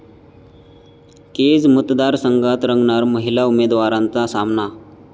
केज मतदारसंघात रंगणार महिला उमेदवारांचा सामना